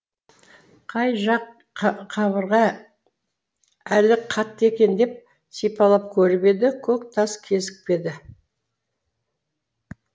қай жақ қабырға әлі қатты екен деп сипалап көріп еді көк тас кезікпеді